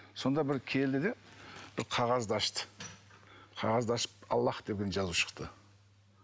сонда бір келді де бір қағазды ашты қағазды ашып аллах деген жазу шықты